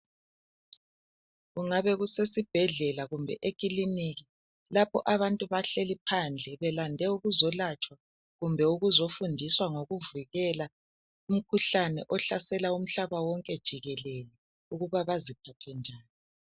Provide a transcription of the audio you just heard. Kungabe lusesibhedlela kumbe ekiilinika lapho abantu bahleli phandle belande ukuzokwelatshwa kumbe ukuzofundiswa ngokuvikela umkhuhlane ohlasela umhlaba wonke jikelele ukuba baziphathe njani.